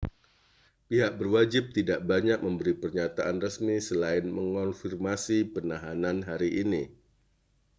pihak berwajib tidak banyak memberi pernyataan resmi selain mengonfirmasi penahanan hari ini